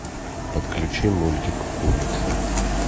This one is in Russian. подключи мультик улица